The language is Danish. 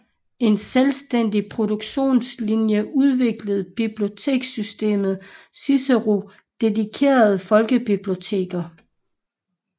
En selvstændig produktionlinje udviklede bibliotekssystemet Cicero dedikeret folkebiblioteker